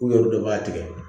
U yɛrɛ dɔ b'a tigɛ